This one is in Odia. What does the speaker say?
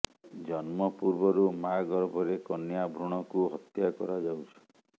ଜନ୍ମ ପୂର୍ବରୁ ମାଆ ଗର୍ଭରେ କନ୍ୟା ଭ୍ରୂଣକୁ ହତ୍ୟା କରାଯାଉଛି